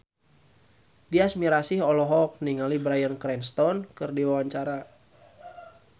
Tyas Mirasih olohok ningali Bryan Cranston keur diwawancara